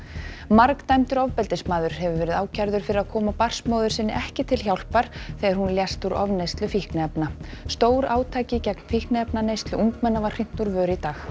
margdæmdur ofbeldismaður hefur verið ákærður fyrir að koma barnsmóður sinni ekki til hjálpar þegar hún lést úr ofneyslu fíkniefna stórátaki gegn fíkniefnaneyslu ungmenna var hrint úr vör í dag